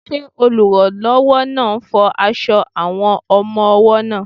Ṣé olùrànlọ́wọ́ náà ń fọ aṣọ àwọn ọmọ-ọwọ́ náà?